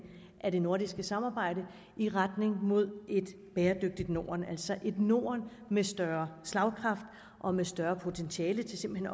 af det nordiske samarbejde i retning mod et bæredygtigt norden altså et norden med større slagkraft og med større potentiale til simpelt